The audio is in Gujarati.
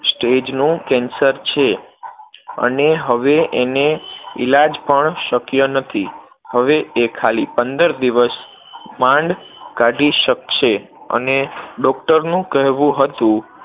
stage નું cancer છે અને હવે એને ઈલાજ પણ શક્ય નથી, હવે એ ખાલી પંદર દિવસ માંડ કાઢી શકશે અને doctor નું કહેવું હતું